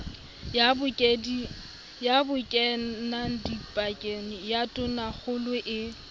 ya bokenadipakeng ya tonakgolo e